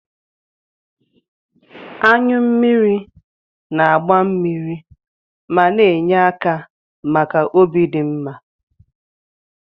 Anyụ mmiri na-agba mmiri ma na-enye aka maka obi dị mma.